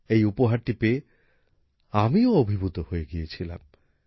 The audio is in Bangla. এই উপহারটি পেয়ে আমিও অভিভূত হয়ে গিয়েছিলাম